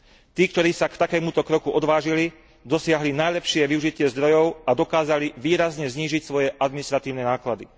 Tí, ktorí sa k takémuto kroku odvážili, dosiahli najlepšie využitie zdrojov a dokázali výrazne znížiť svoje administratívne náklady.